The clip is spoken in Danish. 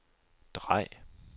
drej